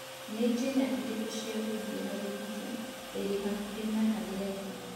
Nĩ njĩra irĩkũ cia gũthiĩ harĩa pizza ĩrĩ hakuhĩ na harĩa ndĩ